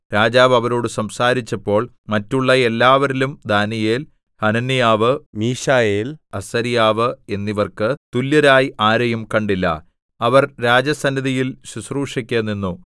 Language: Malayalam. രാജാവ് അവരോടു സംസാരിച്ചപ്പോൾ മറ്റുള്ള എല്ലാവരിലും ദാനീയേൽ ഹനന്യാവ് മീശായേൽ അസര്യാവ് എന്നിവർക്കു തുല്യരായി ആരെയും കണ്ടില്ല അവർ രാജസന്നിധിയിൽ ശുശ്രൂഷയ്ക്ക് നിന്നു